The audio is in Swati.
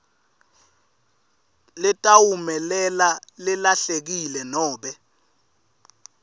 letawumelela lelahlekile nobe